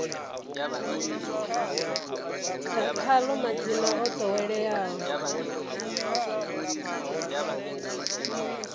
ḓa khaḽo madzina o ḓoweleaho